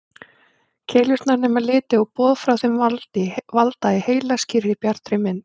Keilurnar nema liti og boð frá þeim valda í heila skýrri, bjartri mynd.